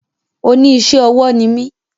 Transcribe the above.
Oní isé ọwọ́ ni mí